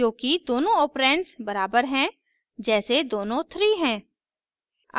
क्योंकि दोनों ऑपरैंड्स बराबर हैं जैसे दोनों थ्री हैं